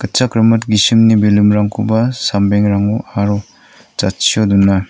rimit gisimni balloon-rangkoba sambengrango aro jatchio dona.